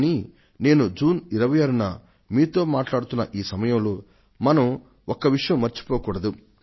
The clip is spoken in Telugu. కానీ నేను జూన్ 26 న మీతో మాట్లాడుతున్న ఈ సమయంలో మనం ఒక్క విషయం మర్చిపోకూడదు